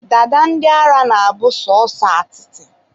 dada ndị ara na-abụ sọsọ atịtị